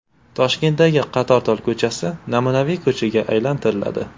Toshkentdagi Qatortol ko‘chasi namunaviy ko‘chaga aylantiriladi.